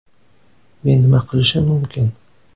Men nima qilishim mumkin?